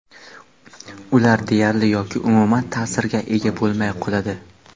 ular deyarli yoki umuman ta’sirga ega bo‘lmay qoladi.